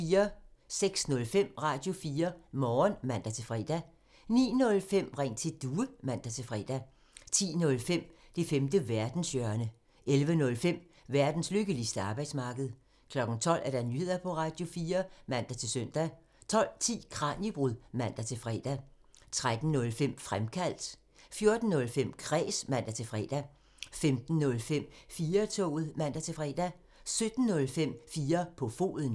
06:05: Radio4 Morgen (man-fre) 09:05: Ring til Due (man-fre) 10:05: Det femte verdenshjørne (man) 11:05: Verdens lykkeligste arbejdsmarked (man) 12:00: Nyheder på Radio4 (man-søn) 12:10: Kraniebrud (man-fre) 13:05: Fremkaldt (man) 14:05: Kræs (man-fre) 15:05: 4-toget (man-fre) 17:05: 4 på foden (man)